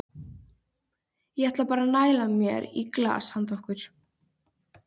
Það brakaði og hrikti í þeim eins og agúrkum.